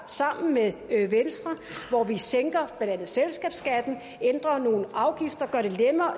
sammen med venstre hvor vi sænker blandt andet selskabsskatten ændrer nogle afgifter gør det